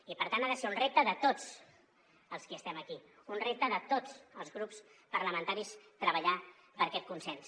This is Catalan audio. i per tant ha de ser un repte de tots els qui estem aquí un repte de tots els grups parlamentaris treballar per aquest consens